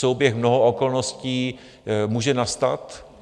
Souběh mnoha okolností může nastat.